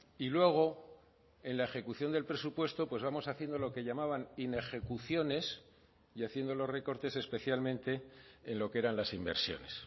y luego en la ejecución del presupuesto pues vamos haciendo lo que llamaban inejecuciones y haciendo los recortes especialmente en lo que eran las inversiones